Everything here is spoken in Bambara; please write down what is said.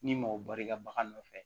Ni mɔgɔ bari ka bagan nɔfɛ